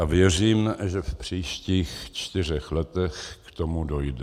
A věřím, že v příštích čtyřech letech k tomu dojde.